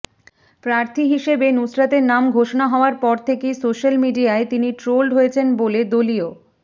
প্রার্থী হিসেবে নুসরতের নাম ঘোষণা হওয়ার পর থেকেই সোশ্যাল মিডিয়ায় তিনি ট্রোলড হয়েছেন বলে দলীয়